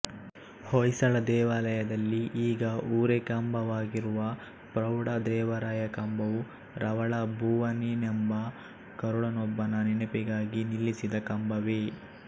ಹೊಯ್ಸಳ ದೇವಾಲಯದಲ್ಲಿ ಈಗ ಊರೆಕಂಬವಾಗಿರುವ ಪ್ರೌಢ ದೇವರಾಯ ಕಂಬವೂ ರವಳ ಬೋವನಿನೆಂಬ ಗರುಡನೊಬ್ಬನ ನೆನಪಿಗಾಗಿ ನಿಲ್ಲಿಸಿದ್ದ ಕಂಬವೇ